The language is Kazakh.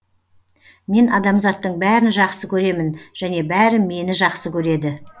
мен адамзаттың бәрін жақсы көремін және бәрі мені жақсы көреді